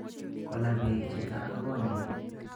Kola beek chito ak konyin